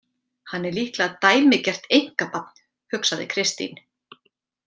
Hann er líklega dæmigert einkabarn, hugsaði Kristín.